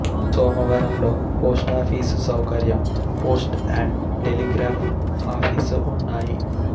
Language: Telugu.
సోమవరంలో పోస్టాఫీసు సౌకర్యం పోస్ట్ అండ్ టెలిగ్రాఫ్ ఆఫీసు ఉన్నాయి